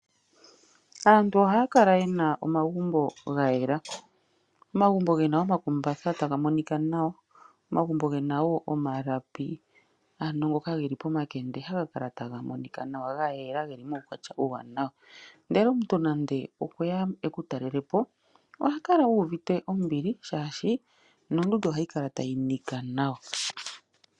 Aantu ohakala yena omagumbo ngayela, omagumbo ngena omakumbatha tangumonika nawa, omagumbo ngena wo omalapi ano ngoka ngeli pomakende hangalala tangumonika nawa ngayela ngeli mukwatya uuwanawa , ndele omuntu nande okweya ekutalelepo ohakala uvite ombili shashi nondunda ohayikala tayinika nawa.